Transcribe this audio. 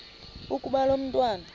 ukuba lo mntwana